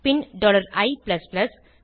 bin i